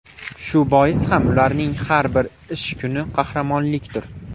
Shu bois ham ularning har bir ish kuni qahramonlikdir.